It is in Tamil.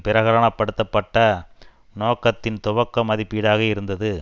பிரகடனப்படுத்தப்பட்ட நோக்கத்தின் துவக்க மதிப்பீடாக இருந்தது